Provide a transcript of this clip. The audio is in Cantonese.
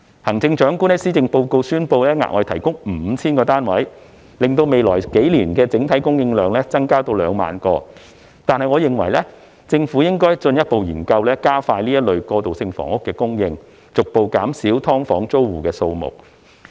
行政長官在施政報告宣布額外提供 5,000 個單位，令未來數年的整體供應量增至2萬個，但我認為政府應進一步研究加快過渡性房屋的供應，逐步減少"劏房"租戶的數目。